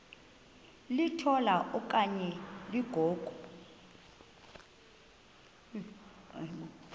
litola okanye ligogo